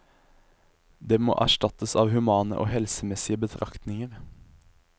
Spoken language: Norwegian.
Det må erstattes av humane og helsemessige betraktninger.